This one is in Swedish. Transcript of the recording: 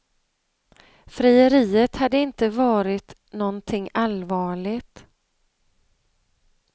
Frieriet hade inte varit någonting allvarligt.